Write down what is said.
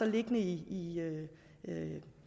liggende i